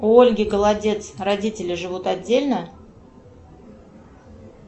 у ольги голодец родители живут отдельно